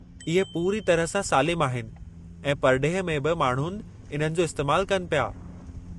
इहे पूरी तरह सां सालिम आहिनि ऐं परडे॒ह में बि माण्हुनि इन्हनि जो इस्तैमालु कनि प्या.